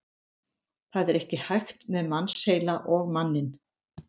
Það er ekki hægt með mannsheila og manninn.